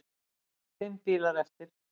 Fimm bílar eftir.